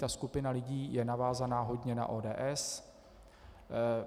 Ta skupina lidí je navázána hodně na ODS.